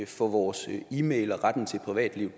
for vores e mail og retten til privatliv